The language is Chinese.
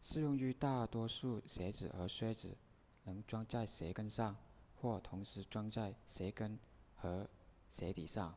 适用于大多数鞋子和靴子能装在鞋跟上或同时装在鞋跟和鞋底上